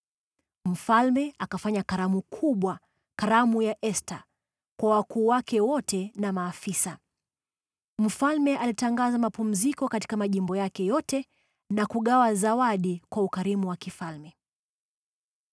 Mfalme akafanya karamu kubwa, karamu ya Esta, kwa wakuu wake wote na maafisa. Mfalme alitangaza mapumziko katika majimbo yake yote na kugawa zawadi kwa ukarimu wa kifalme.